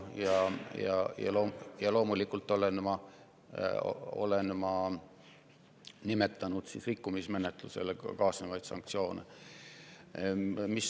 Ja loomulikult olen ma nimetanud rikkumismenetlusega kaasnevaid sanktsioone.